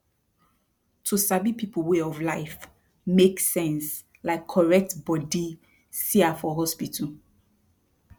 to sabi people way of life mak sense like correct bodi cia for hospital